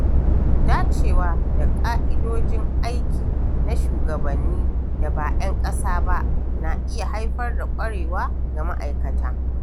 Dacewa da ƙa'idojin aiki na shugabannin da ba 'yan ƙasa ba, na iya haifar da ƙwarewa ga ma’aikata.